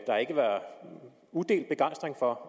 udelt begejstring for